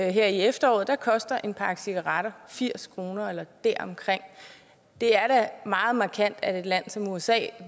her i efteråret koster en pakke cigaretter firs kroner eller deromkring det er da meget markant at et land som usa